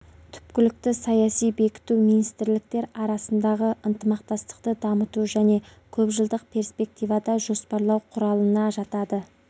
түпкілікті саяси бекіту министрәліктер арасындағы ынтымақтастықты дамыту және көп жылдық перспективада жоспарлау құралына жатады